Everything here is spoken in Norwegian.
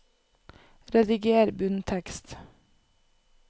Rediger bunntekst